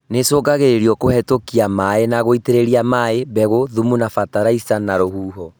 Nĩicũngagĩrĩrio kũhetũkĩra maĩ na gũitĩrĩria maĩ, mbegũ, thumu na bataraitha na rũhuho